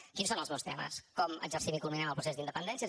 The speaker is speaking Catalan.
quins són els meus temes com exercim i culminem el procés d’independència